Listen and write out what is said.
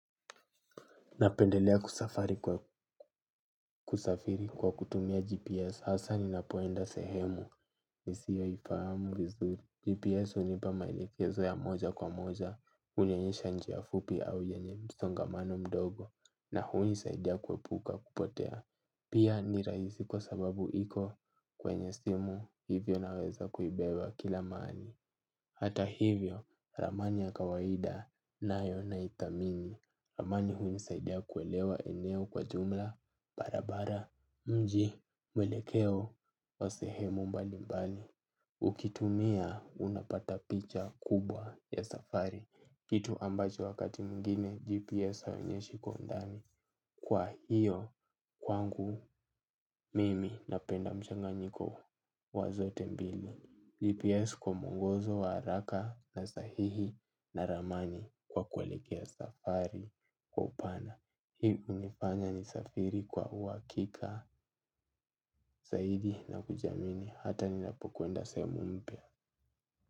Napendelea kusafari kwa kusafiri kwa kutumia GPS, hasa ninapoenda sehemu, ni siyo ifahamu vizuri. GPS hunipa maelekezo ya moja kwa moja, hunionyesha njia fupi au yenye msongamano mdogo, na huni saidia kuepuka kupotea. Pia ni rahisi kwa sababu iko kwenye simu, hivyo naweza kuibeba kila mahali. Hata hivyo, ramani ya kawaida, nayo na ithamini. Ramani hunisaida kuelewa eneo kwa jumla, barabara, mji, mwelekeo, o sehemu mbali mbali. Ukitumia, unapata picha kubwa ya safari. Kitu ambacho wakati mwengine, GPS haionyeshi kwa undani. Kwa hiyo kwangu mimi napenda mchanganyiko wa zote mbili GPS kwa muongozo wa haraka na sahihi na ramani kwa kuealekea safari kwa upana. Hii unifanya ni safiri kwa uwakika, zaidi na kujiamini hata ninapokwenda sehemu mpya.